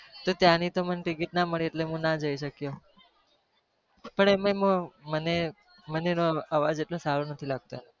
તો ત્યાંની તો મને ટીકીટ ના મળી એટલે હું ના જઈ શક્યો. પણ એમાંય હું મને મને એનો અવાજ એટલો સારો નહિ લાગતો.